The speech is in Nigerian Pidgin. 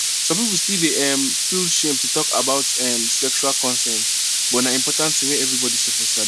some people still um dey feel shame to talk about um sexual consent but na important thing wey everybody suppose sabi